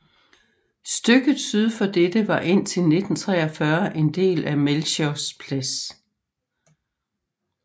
Stykket syd for dette var indtil 1943 en del af Melchiors Plads